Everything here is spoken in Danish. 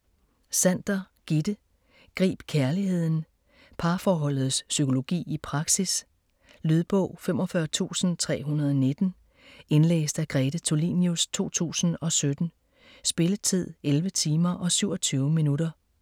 Sander, Gitte: Grib kærligheden Parforholdets psykologi i praksis. Lydbog 45319 Indlæst af Grete Tulinius, 2017. Spilletid: 11 timer, 27 minutter.